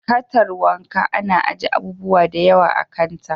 Katar wanka ana aje abubuwa da yawa a kanta.